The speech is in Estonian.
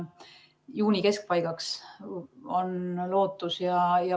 Juuni keskpaigaks on lootust.